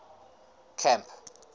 camp